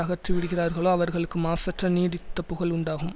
அகற்றிவிடுகிறார்களோ அவர்களுக்கு மாசற்ற நீடித்த புகழ் உண்டாகும்